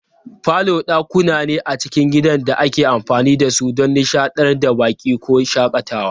Falo dakuna ne a cikin gidan da ake amfani da su don nishadantar da baƙi ko shakatawa.